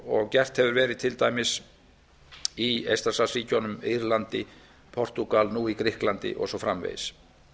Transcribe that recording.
og gert hefur til dæmis verið í eystrasaltsríkjunum írlandi portúgal nú í grikklandi og svo framvegis